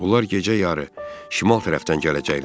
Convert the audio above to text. Onlar gecə yarı şimal tərəfdən gələcəklər.